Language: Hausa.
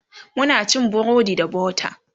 Muna cin burodi da butter